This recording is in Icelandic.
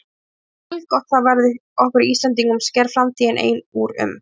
En hversu haldgott það verður okkur Íslendingum sker framtíðin ein úr um.